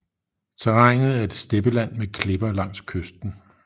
Terrænet er steppeland med klipper langs kysten